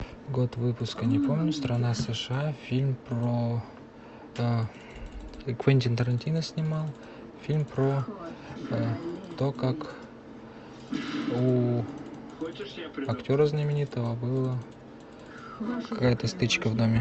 год выпуска не помню страна сша фильм про квентин тарантино снимал фильм про то как у актера знаменитого было какая то стычка в доме